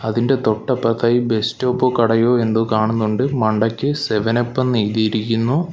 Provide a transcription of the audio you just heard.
അതിൻ്റെ തൊട്ടപ്പുറത്തായി ബസ് സ്റ്റോപ്പോ കടയോ എന്തോ കാണുന്നുണ്ട് മണ്ടയ്ക്ക് സെവൻ അപ്പെന്നെഴുതിയിരിക്കുന്നു .